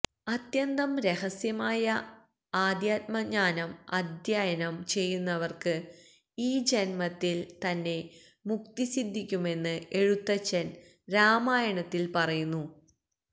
അത്യന്തം രഹസ്യമായ അധ്യാത്മജ്ഞാനം അധ്യയനം ചെയ്യുന്നവര്ക്ക് ഈ ജന്മത്തില് തന്നെ മുക്തിസിദ്ധിക്കുമെന്ന് എഴുത്തച്ഛന് രാമായണത്തില് പറയുന്നു